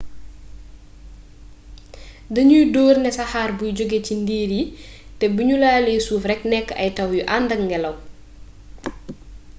dañuy door ne saxaar buy jóge cii ndiir yi te bu ñu laalee suuf rekk nekk ay taw yu àndak ngelaw